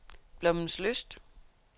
Blommenslyst